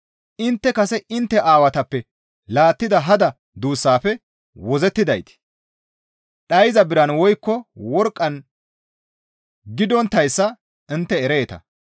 Intte kase intte aawatappe laattida hada duussaafe wozzettiday dhayza biran woykko worqqan gidonttayssa intte ereeta.